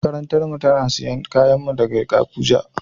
Makarantan mu suna siyan kayan mu daga Abuja.